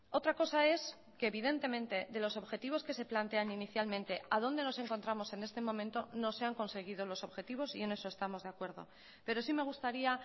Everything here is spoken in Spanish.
otra cosa es que evidentemente de los objetivos que se plantean inicialmente a dónde nos encontramos en este momento no se han conseguido los objetivos y en eso estamos de acuerdo pero sí me gustaría